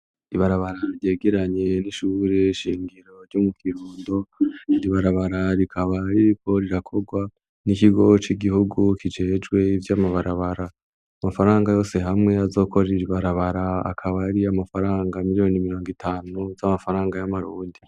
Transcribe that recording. Ibarabara ryegeranye n'ishure shingiro ryo mu Kirundo, iri barabara rikaba ririko rirakorwa n'ikigo c'igihugu kijejwe ivy'amabarabara, amafaranga yose hamwe azokora iri barabara akaba ari amafaranga miliyoni mirongo itanu z'amafaranga y'amarundi.